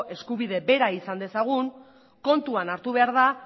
eskubide bera izan dezagun kontuan hartu behar da